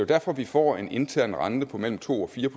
derfor vi får en intern rente på mellem to og fire